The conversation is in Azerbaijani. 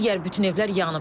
Digər bütün evlər yanıb.